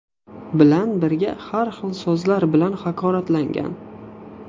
bilan birga har xil so‘zlar bilan haqoratlagan.